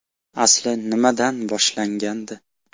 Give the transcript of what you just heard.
Asli nimadan boshlangandi?